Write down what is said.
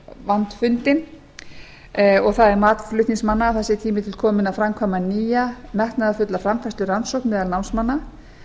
vandfundin og það er mat flutningsmanna að það sé tími til kominn að framkvæma nýja metnaðarfulla samþætturannsókn meðal námsmanna